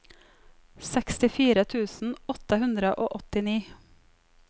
sekstifire tusen åtte hundre og åttini